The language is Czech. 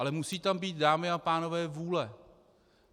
Ale musí tam být, dámy a pánové, vůle.